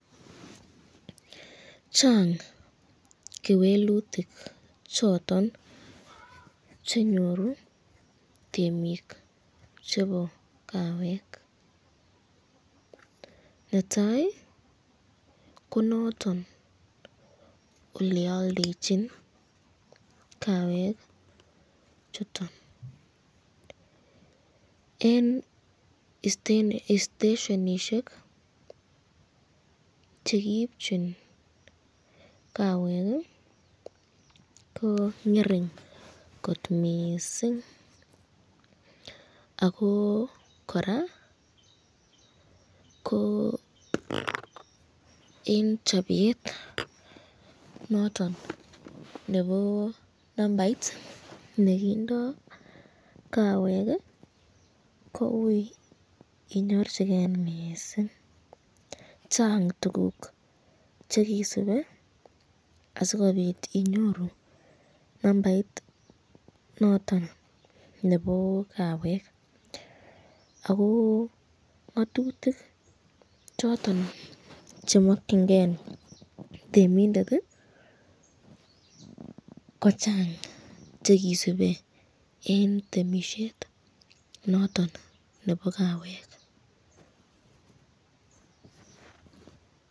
Chang kewelutik choton chenyoru temik chebo kawek, netai ko noton olealdechin kawek chuton, eng isteshonishek chekiipchin kawek ko ngering kot mising, ako koraa ko eng chapet noton nebo nambait noton nekindo kawek ko ui inyorchiken mising, Chang tukuk chekisube asikobit inyoru nambait noton nebo kawek ,,ako ngatutik choton chemakyinike temindet ko chang chekisube eng temisyet noton nebo kawek.